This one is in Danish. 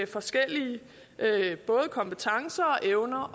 forskellige kompetencer